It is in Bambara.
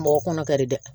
Mɔgɔ kɔnɔ ka di dɛ